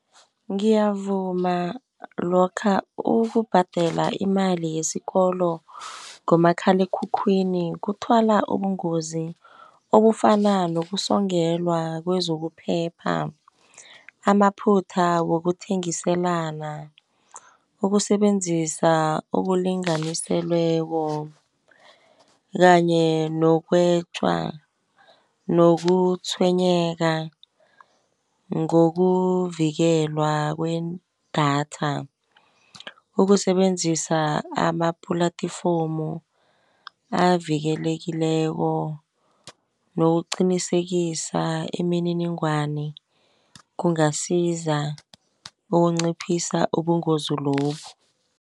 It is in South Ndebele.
Ngiyavuma lokha ukubhadela imali yesikolo ngomakhalekhukhwini kuthwala ubungozi, obufana nokusongelwa kwezokuphepha. Amaphutha wokuthengiselana, ukusebenzisa ukulinganiselweko kanye nokutshwenyeka ngokuvikelwa kwedatha, ukusebenzisa ama-platform avikelekileko, nokuqinisekisa imininingwani kungasiza ukunciphisa ubungozi lobu.